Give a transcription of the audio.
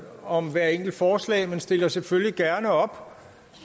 om hvert enkelt forslag men stiller selvfølgelig gerne op